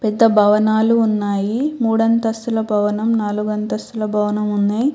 పెద్ద భవనాలు ఉన్నాయి. మూడు అంతస్తుల భవనం నాలుగు అంతస్తుల భవనం ఉన్నాయ్.